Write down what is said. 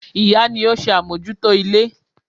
Ìyá ni ó ń ṣe àmójútó ilé.